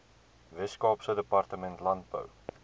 weskaapse departement landbou